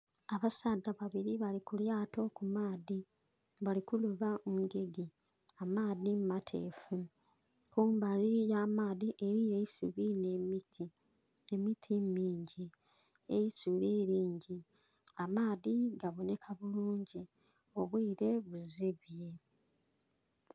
Abasaadha babili bali kulyato kumaadhi bali kuloba engege amaadhi matefu, kumbali yamaadhi eriyo eisubi nh'emiti, emiti mingi, eisubi lingi amaadhi gabonheka bulungi obwiire buzibye.